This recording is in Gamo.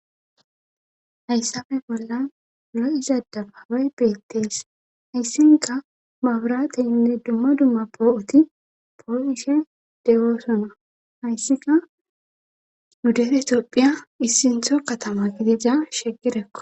hayssafe bolla lo7iza dabaabay beettees hayssinka maburate inne dumma dumma poo7uti poo7ishe dewoosona hayssika nu dere toopphiya issintho katama gidiza shegirekko